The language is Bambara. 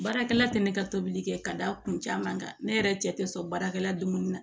Baarakɛla tɛ ne ka tobili kɛ ka da kun caman kan ne yɛrɛ cɛ tɛ sɔn baarakɛla dun na